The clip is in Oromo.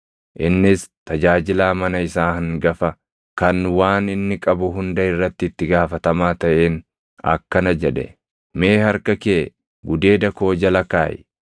Innis tajaajilaa mana isaa hangafa kan waan inni qabu hunda irratti itti gaafatamaa taʼeen akkana jedhe; “Mee harka kee gudeeda koo jala kaaʼi.